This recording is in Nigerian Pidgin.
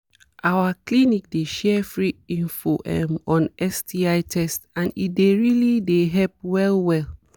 our clinic dey share free info um on sti test and e dey really dey help well um well